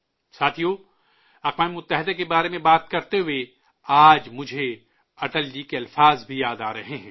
ساتھیو، اقوام متحدہ کے بارے میں بات کرتے ہوئے آج مجھے اٹل جی کے الفاظ بھی یاد آ رہے ہیں